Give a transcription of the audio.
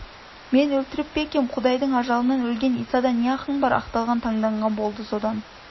мен өлтіріп пе екем құдайдың ажалынан өлген исада не ақың бар деп ақталған танданған болды содан